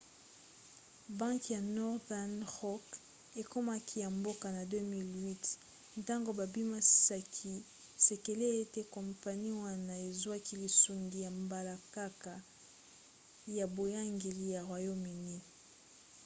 banke ya northern rock ekomaki ya mboka na 2008 ntango babimisaki sekele ete kompani wana ezwaki lisungi ya mbalakaka ya boyangeli ya royaume-uni